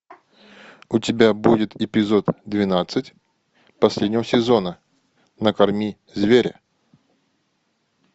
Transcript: у тебя будет эпизод двенадцать последнего сезона накорми зверя